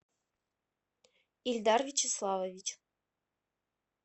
ильдар вячеславович